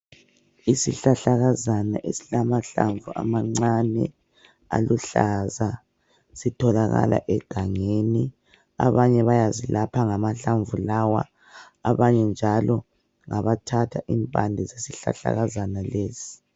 Isihlahlakazana esilamahlamvu amancane aluhlaza sitholakala egangeni. Abanye bayazilapha ngamahlamvu lawa .Abanye njalo ngabathatha impande zesihlahlakazana lesi.